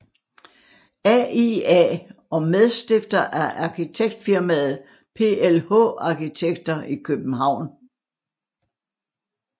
AIA og medstifter af arkitektfirmaet PLH arkitekter i København